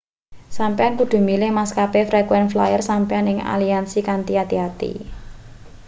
sampeyan kudu milih maskape frequent flyer sampeyan ing aliansi kanthi ati-ati